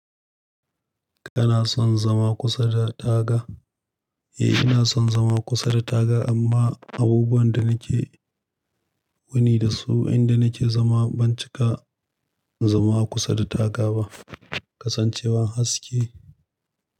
Kana son zama kusa da taga? Eh, ina son zama kusa da taga amma abubuwan da nake wuni dasu inda nake zama ban cika zama a kusa da taga ba. Kasan cewa haske.